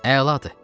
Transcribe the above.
Əladır.